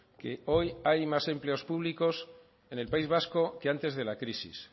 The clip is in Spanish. que hoy hay más empleos públicos en el país vasco que antes de la crisis